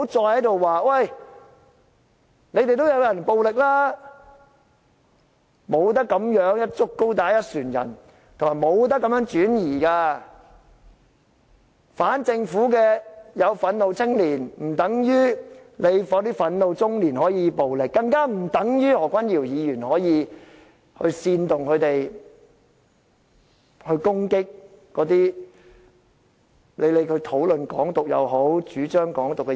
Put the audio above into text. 不要再說你們也有人很暴力，不能這樣"一竹篙打一船人"，亦不能轉移視線，反政府的有憤怒青年，不等於憤怒中年就可以作出暴力的行為，更不等於何君堯議員可以煽動他們攻擊那些討論或主張"港獨"的人。